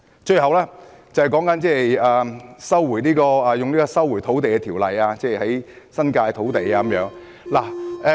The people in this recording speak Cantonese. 最後，便是引用《收回土地條例》收回新界土地的問題。